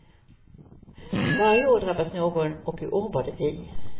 Varje år drabbas någon och i år var det vi.